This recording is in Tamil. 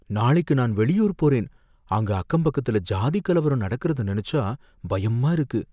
நாளைக்கு நான் வெளியூர் போறேன், அங்க அக்கம்பக்கத்துல ஜாதிக் கலவரம் நடக்கிறத நினைச்சா பயமா இருக்கு.